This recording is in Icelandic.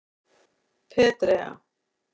Petrea